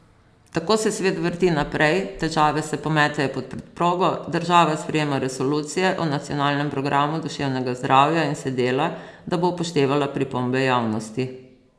Tako se svet vrti naprej, težave se pometejo pod preprogo, država sprejema resolucije o nacionalnem programu duševnega zdravja in se dela, da bo upoštevala pripombe javnosti.